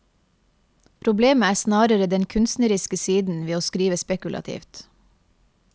Problemet er snarere den kunstneriske siden ved å skrive spekulativt.